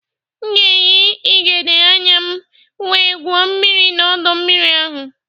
M ga-eyị ịgegbe anya m wee gwuo mmiri na ọdọ mmiri ahụ